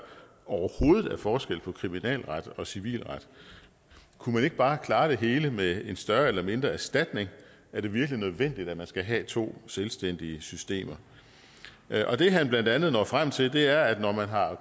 overhovedet er forskel på kriminalret og civilret kunne man ikke bare klare det hele med en større eller mindre erstatning er det virkelig nødvendigt at man skal have to selvstændige systemer og det han blandt andet når frem til er at når man har